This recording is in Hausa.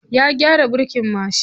Ya gyara birkin mashin.